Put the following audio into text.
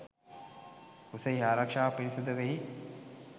කුසෙහි ආරක්ෂාව පිණිස ද වෙයි.